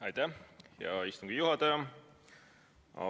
Aitäh, hea istungi juhataja!